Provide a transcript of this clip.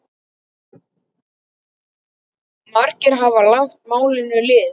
Margir hafa lagt málinu lið.